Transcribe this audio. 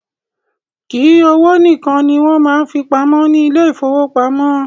Kìí owó nìkan ní wọn máa ń fí pamọ́ ní ile-ìfowópamó